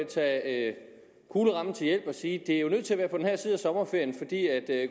tage kuglerammen til hjælp og sige at det er nødt til at være på den her side af sommerferien for